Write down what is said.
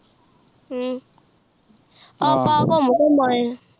ਫੇਰ ਆਪਾਂ ਘੁਮ ਘਮ ਆਏ ਆ